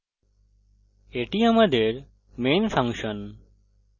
এটি আমাদের main function